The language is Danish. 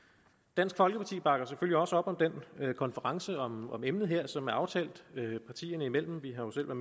dansk folkeparti bakker selvfølgelig også op om den konference om emnet her som er aftalt partierne imellem vi har jo selv